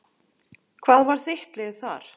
Hvað var þitt lið þar?